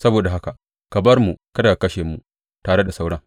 Saboda haka ka bar mu kada ka kashe mu tare da sauran.